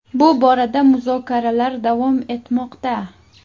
Bu borada muzokaralar davom etmoqda.